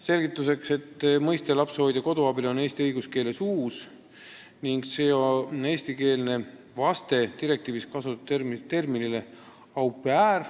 Selgituseks, et mõiste "lapsehoidja-koduabiline" on eesti õiguskeeles uus ning see on eestikeelne vaste direktiivis kasutatud sõnale "au pair".